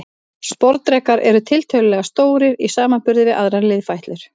Sporðdrekar eru tiltölulega stórir í samanburði við aðrar liðfætlur.